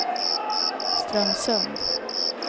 Strömsund